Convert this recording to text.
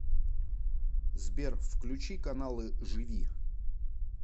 сбер включи каналы живи